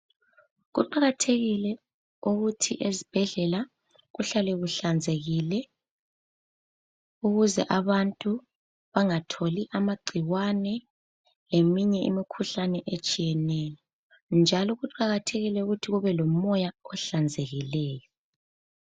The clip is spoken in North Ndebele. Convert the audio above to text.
Kuqakathekile ukuthi ezibhedlela kuhlale kuhlanzekile ukuze abantu bangatholi amagcikwane leminye imikhuhlane etshiyeneyo njalo kuqakathekile ukuthi kube lomoya ohlanzekileyo.